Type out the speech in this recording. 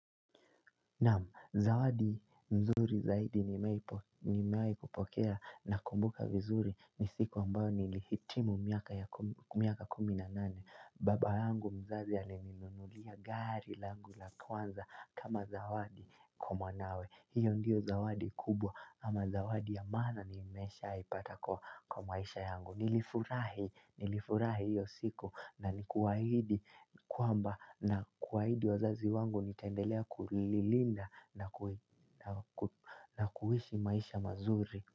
Naamu, zawadi nzuri zaidi nimewahi kupokea nakumbuka vizuri ni siku ambayo nilihitimu miaka kumi na nane. Baba yangu mzazi alininunulia gari langu la kwanza kama zawadi kwa mwanawe. Hiyo ndiyo zawadi kubwa ama zawadi ya maana nimeshaipata kwa maisha yangu. Nilifurahi nilifurahi hiyo siku na nikuahidi kwamba na kuahidi wazazi wangu nitaendelea kulilinda na kuishi maisha mazuri.